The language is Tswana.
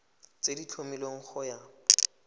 tse di tlhomilweng go ya